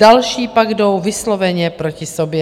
Další pak jdou vysloveně proti sobě.